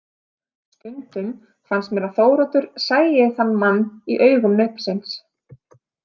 Stundum fannst mér að Þóroddur sæi þann mann í augum nautsins.